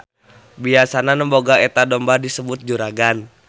Biasana nu boga eta domba disebut juragan.